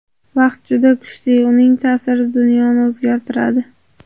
Vaqt juda kuchli, uning ta’siri dunyoni o‘zgartiradi.